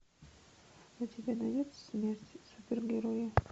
у тебя найдется смерть супергероя